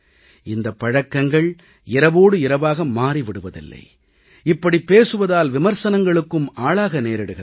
இந்தப் பழக்கங்கள் இரவோடு இரவாக மாறி விடுவதில்லை இப்படிப் பேசுவதால் விமர்சனங்களுக்கும் ஆளாக நேரிடுகிறது